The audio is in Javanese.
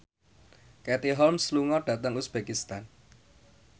Katie Holmes lunga dhateng uzbekistan